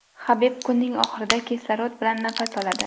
Habib kunning oxirida kislorod bilan nafas oladi.